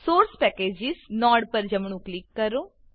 source packages source packages node પર જમણું click કરો